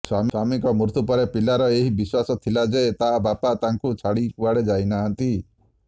ସ୍ୱାମିଙ୍କ ମୃତ୍ୟୁ ପରେ ପିଲାର ଏଇ ବିଶ୍ୱାସ ଥିଲା ଯେ ତା ବାପା ତାଙ୍କୁ ଛାଡିକୁଆଡେ ଯାଇନାହାନ୍ତି